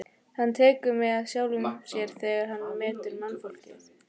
Hann tekur mið af sjálfum sér þegar hann metur mannfólkið.